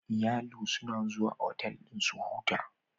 Iyalu suna zuwa otal dan su huta